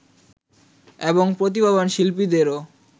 এবং প্রতিভাবান শিল্পীদেরও